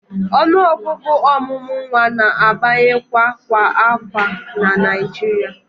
Ọnụọgụ ọmụmụ nwa na-abawanye kwa afọ na Naịjirịa